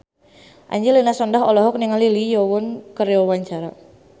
Angelina Sondakh olohok ningali Lee Yo Won keur diwawancara